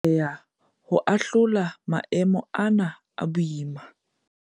Re tla atleha ho ahlola maemo ana a boima.